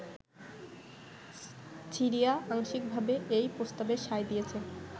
Syria আংশিকভাবে এই প্রস্তাবে সায় দিয়েছে।